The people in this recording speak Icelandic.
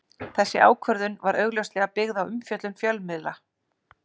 Þessi ákvörðun var augljóslega byggð á umfjöllun fjölmiðla.